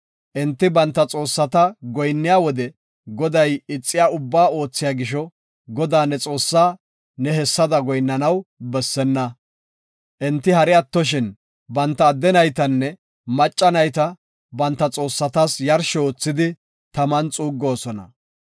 Enti banta xoossata goyinniya wode Goday ixiya ubbaa oothiya gisho, Godaa ne Xoossaa ne hessada goyinnanaw bessenna. Enti hari attoshin, banta adde naytanne macca nayta banta xoossatas yarsho oothidi taman xuuggoosona.